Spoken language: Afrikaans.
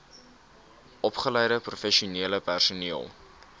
opgeleide professionele personeel